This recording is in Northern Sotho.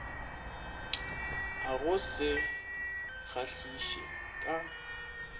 a go se kgahliše ka